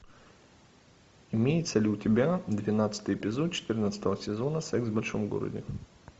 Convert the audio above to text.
имеется ли у тебя двенадцатый эпизод четырнадцатого сезона секс в большом городе